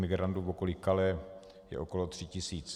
Migrantů v okolí Calais je okolo tří tisíc.